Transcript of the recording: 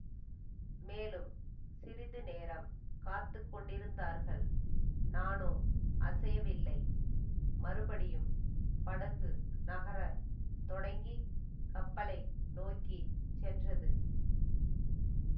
மேலும் சிறிது நேரம் காத்து கொண்டிருந்தார்கள் நானோ அசையவில்லை மறுபடியும் படகு நகர தொடங்கி கப்பலை நோக்கி சென்றது